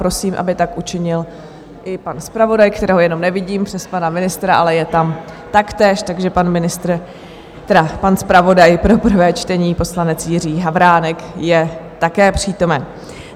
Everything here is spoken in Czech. Prosím, aby tak učinil i pan zpravodaj, kterého jenom nevidím přes pana ministra, ale je tam taktéž, takže pan ministr, tedy pan zpravodaj pro prvé čtení poslanec Jiří Havránek je také přítomen.